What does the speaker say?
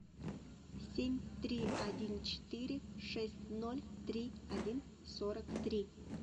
семь три один четыре шесть ноль три один сорок три